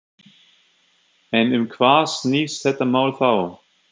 En um hvað snýst þetta mál þá?